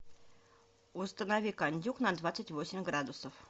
установи кондюк на двадцать восемь градусов